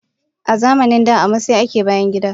Azamanin da a masai ake bayangida.